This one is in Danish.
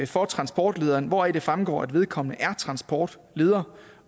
for transportlederen hvoraf det fremgår at vedkommende er transportleder